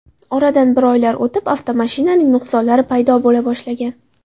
Oradan bir oylar o‘tib, avtomashinaning nuqsonlari paydo bo‘la boshlagan.